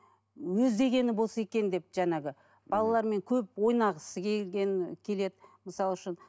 өз дегені болса екен деп жаңағы балалармен көп ойнағысы келгені келеді мысалы үшін